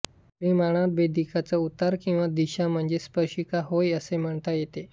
परिणामत भेदिकेचा उतार किंवा दिशा म्हणजेच स्पर्शिका होय असे म्हणता येते